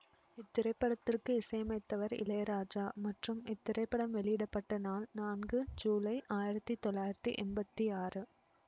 இத்திரைப்படத்திற்கு இசையமைத்தவர் இளையராஜா மற்றும் இத்திரைப்படம் வெளியிட பட்ட நாள் நான்கு ஜூலை ஆயிரத்தி தொள்ளாயிரத்தி எம்பத்தி ஆறு